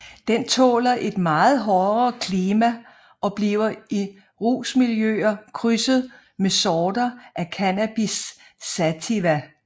Den tåler et meget hårdere klima og bliver i rusmiljøer krydset med sorter af Cannabis sativa